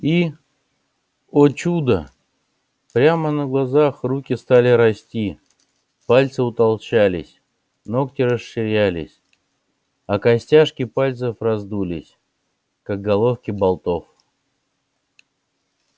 и о чудо прямо на глазах руки стали расти пальцы утолщались ногти расширились а костяшки пальцев раздулись как головки болтов